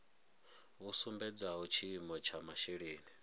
vhu sumbedzaho tshiimo tsha masheleni